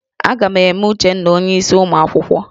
A ga-eme Uchenna onyeisi ụmụ akwụkwọ